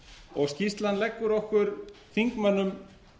og skýrslan leggur okkur þingmönnum